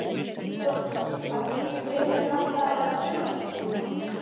Hrund Þórsdóttir: Var kannski draumurinn alltaf að verða sjónvarpsstjarna?